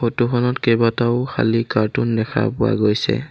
Photo খনত কেইবাটাও খালী কাৰ্টুন দেখা পোৱা গৈছে।